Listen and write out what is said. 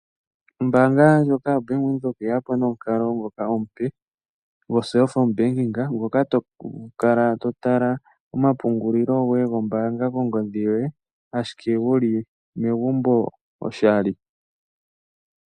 Ombaanga ndjoka yo Bank Windhoek oye yapo nomukalo ngoka omupe go cellphone banking ngoka tokala totala omapungulilo goye gombaanga kongodhi yoye ashike wuli megumbo oshali.